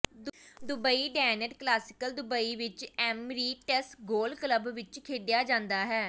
Dubai ਡੈਨਟ classic Dubai ਵਿਚ Emirates golf club ਵਿਚ ਖੇਡਿਆ ਜਾਂਦਾ ਹੈ